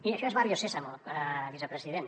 miri això és barrio sésamo vicepresident